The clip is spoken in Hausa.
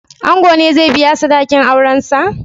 Ango ne zai biya sadakin aurensa?